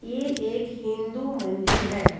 ये एक हिंदू मंदिर है।